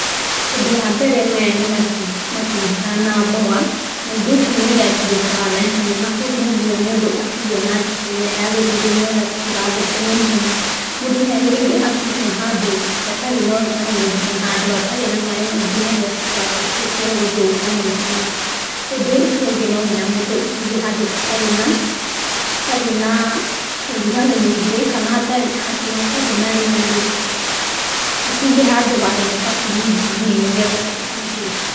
Ũndũ wa mbere maya nĩ matunda na mboga, na indo ici nĩ iria ithũkaga na ihenya, na koguo no nginya mũndũ aciige na njĩra ĩrĩa yagĩrĩire nĩgetha citigathũke naihenya. Mũndũ nĩ agĩrĩire acige handũ hatarĩ na ũrugarĩ mũingĩ na handũ hatarĩ na maĩ maingĩ nigetha citigatuĩke cia gũthũka naihenya. Ũndũ ũcio ũngĩ no nginya mũndũ aciige handũ hatarĩ na hatarĩ na ũrugarĩ mũingĩ, kana hatarĩ handũ hatarĩ na rĩera rĩingĩ, acige handũ hahehu ta brinji-inĩ nĩgetha citigathũke.